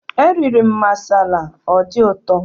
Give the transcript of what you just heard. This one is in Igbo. Eriri m masala, ọ dị ụtọ